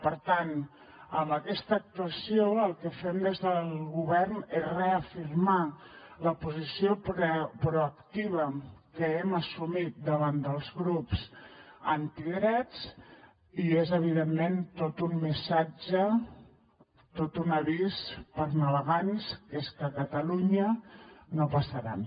per tant amb aquesta actuació el que fem des del govern és reafirmar la posició proactiva que hem assumit davant dels grups antidrets i és evidentment tot un missatge tot un avís per a navegants que és que a catalunya no passaran